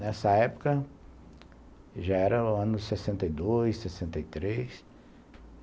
Nessa época já era o ano sessenta e dois, sessenta e três.